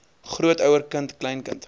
grootouer kind kleinkind